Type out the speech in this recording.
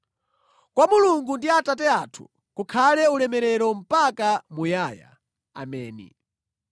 Kwa Mulungu ndi Atate athu, kukhale ulemerero mpaka muyaya. Ameni.